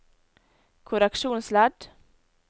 korreksjonsledd